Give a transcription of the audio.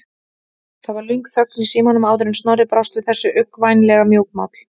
Það varð löng þögn í símanum áður en Snorri brást við þessu, uggvænlega mjúkmáll.